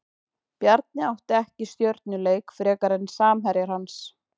Bjarni átti ekki stjörnuleik frekar en samherjar hans.